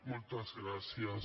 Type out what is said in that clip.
moltes gràcies